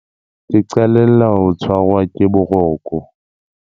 Ke qalella ho tshwarwa ke boroko.